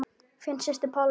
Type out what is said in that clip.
Þín systir Pálína.